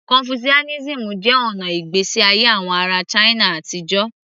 Confucianism jẹ́ ọ̀nà ìgbésí ayé àwọn ará china àtijọ́